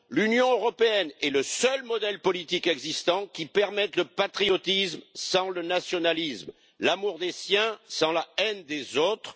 L'Union européenne est le seul modèle politique existant qui permette le patriotisme sans le nationalisme, l'amour des siens sans la haine des autres.